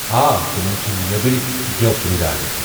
آ تِمَن چھِ نٮ۪بٕرِ گٮ۪و پٮ۪رڑان۔